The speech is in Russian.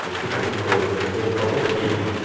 то есть ты как-будто в этот поток едешь